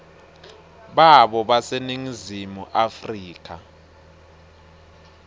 babo baseningizimu afrika